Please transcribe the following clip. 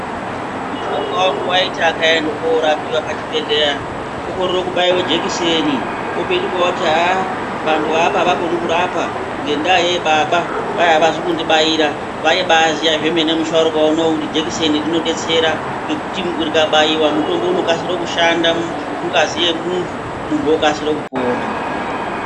Musharuka vangu vaiti akaenda korapiva pachibhedhleya okorere kubaiva jekiseni, opetuka voti haa vantu veapa havakoni kurapa. Ngendaa yei baba kwai havazi kundibaira vaibaziya zvemene musharuka unouyu kuti jekiseni rinobetsera. Ngekuti rikabaiva mutombo unokasira kushanda mungazi yemuntu, muntu okasire kupona.